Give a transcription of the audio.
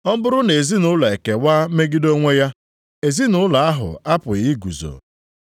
Ọ bụrụ na ezinaụlọ ekewa megide onwe ya, ezinaụlọ ahụ apụghị iguzo.